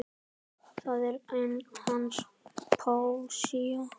Það er hans póesía.